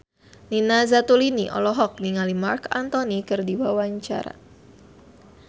Nina Zatulini olohok ningali Marc Anthony keur diwawancara